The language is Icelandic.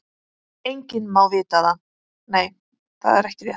Enginn má það vita.